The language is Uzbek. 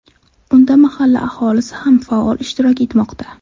Unda mahalla aholisi ham faol ishtirok etmoqda.